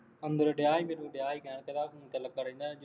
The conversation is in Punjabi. ਅੰਦਰ ਡਿਆ ਸੀ ਅਤੇ ਤੂੰ ਡਿਆ ਸੀ ਮੈਂ ਤੇਰਾ ਫੋਨ ਤੇ ਲੱਗਾ ਰਹਿੰਦਾ